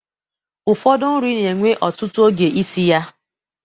Ụfọdụ nri n'ewe ọtụtụ oge isi ya